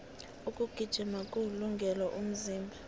ukugijima kuwulungele umzimba